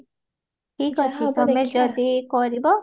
ଠିକ ଅଛି ତମେ ଯଦି କରିବା